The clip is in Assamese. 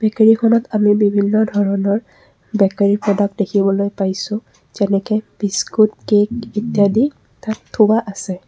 বেকাৰীখনত আমি বিভিন্ন ধৰণৰ বেকাৰী প্ৰডাক্ট দেখিবলৈ পাইছোঁ যেনেকে বিস্কুট কেক ইত্যাদি তাত থোৱা আছে।